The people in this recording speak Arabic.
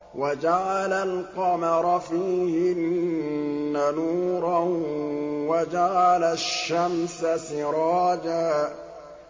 وَجَعَلَ الْقَمَرَ فِيهِنَّ نُورًا وَجَعَلَ الشَّمْسَ سِرَاجًا